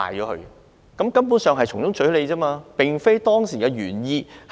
他們根本是從中取利，有違政策原意。